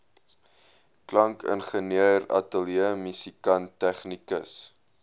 klankingenieur ateljeemusikant tegnikus